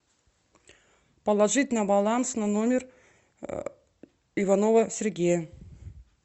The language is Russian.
положить на баланс на номер иванова сергея